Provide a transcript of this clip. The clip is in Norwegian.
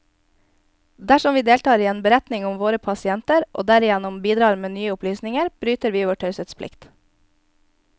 Dersom vi deltar i en beretning om en av våre pasienter, og derigjennom bidrar med nye opplysninger, bryter vi vår taushetsplikt.